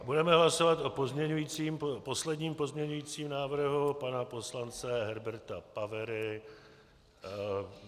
Budeme hlasovat o posledním pozměňujícím návrhu pana poslance Herberta Pavery.